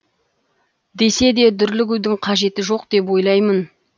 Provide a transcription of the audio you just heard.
десе де дүрлігудің қажеті жоқ деп ойлаймын